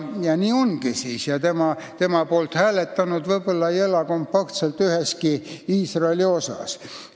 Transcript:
Nimekirja poolt hääletanud ei ela aga kompaktselt üheski Iisraeli osas.